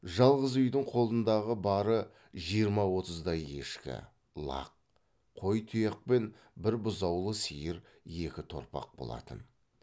жалғыз үйдің қолындағы бары жиырма отыздай ешкі лақ қой тұяқ пен бір бұзаулы сиыр екі торпақ болатын